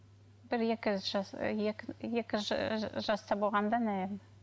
бір екі жас і екі екі жаста болғанда наверное